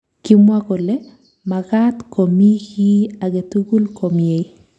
Kimwa kole makaat komii kii agetugul komyei